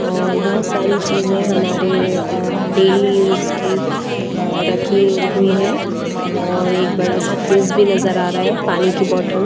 और बहुत सारी चीजें हमारे अ डेली यूज की रखी हुई है और एक बड़ा सा फ्रिज भी नजर आ रहा है पानी की बॉटल--